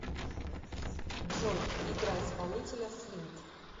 джой играй исполнителя слинт